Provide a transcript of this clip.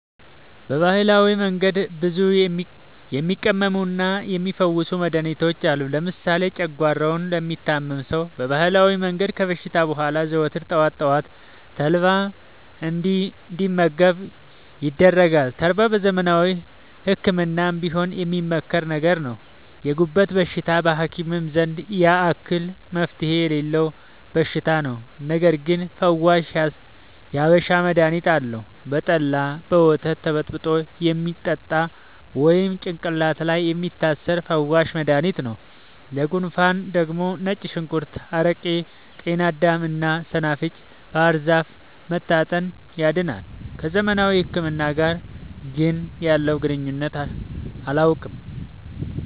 በባህላዊ መንገድ ብዙ የሚቀመሙና የሚ ፈውሱ መድሀኒቶች አሉ። ለምሳሌ ጨጓሯውን ለሚታመም ሰው በባህላዊ መንገድ ከታሸ በኋላ ዘወትር ጠዋት ጠዋት ተልባ እንዲ መገብ ይደረጋል ተልባ በዘመናዊ ህክምናም ቢሆን የሚመከር ነገር ነው። የጉበት በሽታ በሀኪም ዘንድ ያን አክል መፍትሄ የሌለው በሽታ ነው። ነገርግን ፈዋሽ የሀበሻ መድሀኒት አለው። በጠላ፣ በወተት ተበጥብጦ የሚጠጣ ወይም ጭቅላት ላይ የሚታሰር ፈዋሽ መደሀኒት ነው። ለጉንፉን ደግሞ ነጭ ሽንኩርት አረቄ ጤናዳም እና ሰናፍጭ ባህርዛፍ መታጠን ያድናል።። ከዘመናዊ ህክምና ጋር ግን ያለውን ግንኙነት አላውቅም።